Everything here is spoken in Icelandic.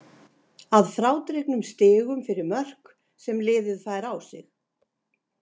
Að frádregnum stigum fyrir mörk sem liðið fær á sig.